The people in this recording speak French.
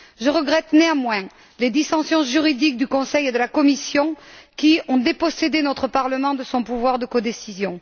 Je regrette néanmoins les dissensions juridiques du Conseil et de la Commission qui ont dépossédé notre Parlement de son pouvoir de codécision.